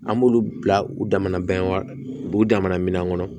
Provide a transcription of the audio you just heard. An b'olu bila u damana banw u b'u damana minɛn kɔnɔ